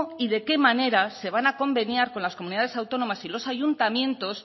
y de qué manera se van a conveniar con las comunidades autónomas y los ayuntamientos